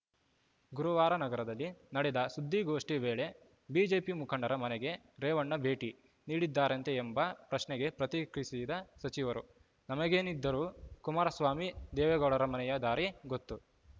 ಗುರುವಾರ ನಗರದಲ್ಲಿ ನಡೆದ ಸುದ್ದಿಗೋಷ್ಠಿ ವೇಳೆ ಬಿಜೆಪಿ ಮುಖಂಡರ ಮನೆಗೆ ರೇವಣ್ಣ ಭೇಟಿ ನೀಡಿದ್ದರಂತೆ ಎಂಬ ಪ್ರಶ್ನೆಗೆ ಪ್ರತಿಕ್ರಿಯಿಸಿದ ಸಚಿವರು ನಮಗೇನಿದ್ದರೂ ಕುಮಾರಸ್ವಾಮಿ ದೇವೇಗೌಡರ ಮನೆಯ ದಾರಿ ಗೊತ್ತು